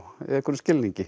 í einhverjum skilningi